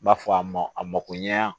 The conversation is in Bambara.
N b'a fɔ a ma a mako ɲɛ a